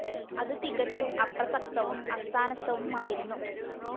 അതു തികച്ചും അപ്രസക്തവും അസ്ഥാനസ്ഥവുമായിരുന്നു